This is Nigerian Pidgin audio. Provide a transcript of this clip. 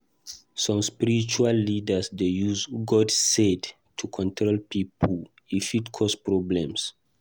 Some spiritual leaders dey use “God said” to control pipo; e fit cause problems.